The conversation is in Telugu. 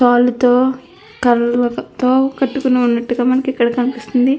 తాళ్ళతో కర్రలతో కట్టుకుని వున్నట్టుగా మనకి ఇక్కడ కనిపిస్తుంది.